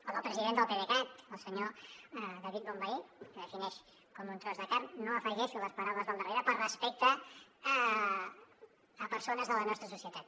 o del president del pdecat el senyor david bonvehí que defineix com un tros de carn no afegeixo les paraules del darrere per respecte a persones de la nostra societat